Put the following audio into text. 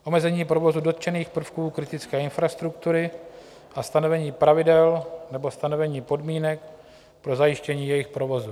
Omezení provozu dotčených prvků kritické infrastruktury a stanovení pravidel nebo stanovení podmínek pro zajištění jejich provozu.